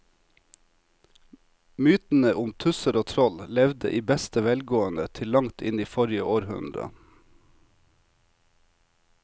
Mytene om tusser og troll levde i beste velgående til langt inn i forrige århundre.